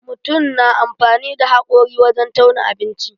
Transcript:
Mutun na amfani da haƙori wajen tauna abinci.